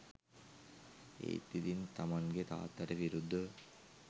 ඒත් ඉතින් තමන්ගෙ තාත්තට විරුද්ධව